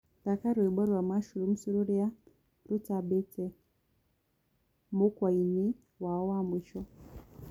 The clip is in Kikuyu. thaka rwĩmbo rwa mushrooms rũrĩa rũtambĩte mũkwaĩnĩ wao wa mwĩsho